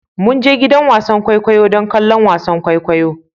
Mun je gidan wasan kwaikwayo don kallon wasan kwaikwayo